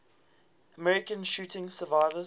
american shooting survivors